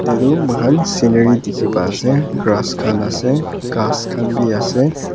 ete tu moikhan scenery dikhi pa ase grass khan ase ghass khan bhi ase.